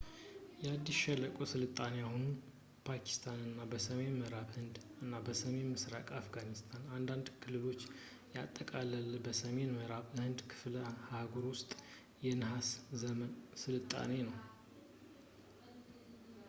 የኢንዱስ ሸለቆ ስልጣኔ የአሁኑን ፓኪስታን እና በሰሜን ምዕራብ ህንድ እና ሰሜን ምስራቅ አፍጋኒስታን አንዳንድ ክልሎችን ያጠቃለለ የሰሜን ምዕራብ ህንድ ክፍለ-አህጉር ውስጥ የነሃስ ዘመን ስልጣኔ ነው